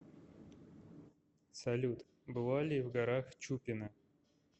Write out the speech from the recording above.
салют была ли в горах чупина